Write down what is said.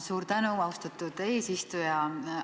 Suur tänu, austatud eesistuja!